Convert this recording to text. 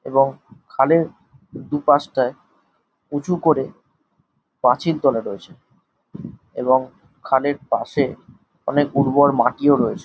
এবং খালের দুপাশটাই উঁচু করে পাঁচিল তোলা হয়েছে এবং খালের পাশে অনেক উর্বর মাটিও রয়েছে ।